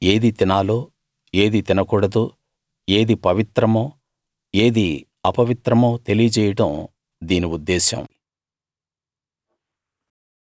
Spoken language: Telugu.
ఏది తినాలో ఏది తినకూడదో ఏది పవిత్రమో ఏది అపవిత్రమో తెలియజేయడం దీని ఉద్దేశం